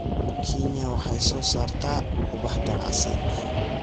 Kenya waxay soo saartaa ubax ganacsi